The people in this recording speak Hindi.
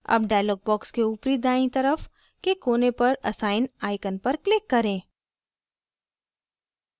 अब dialog box के ऊपरी दायीं तरफ के कोने पर assign icon पर click करें